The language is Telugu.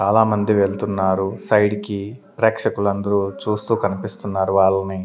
చాలామంది వెళ్తున్నారు సైడ్ కి ప్రేక్షకులు అందరూ చూస్తూ కనిపిస్తున్నారు వాళ్ళని.